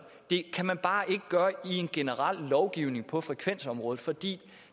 det kan man bare ikke gøre i en generel lovgivning på frekvensområdet fordi